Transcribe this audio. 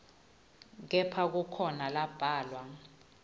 kepha kukhona lambalwa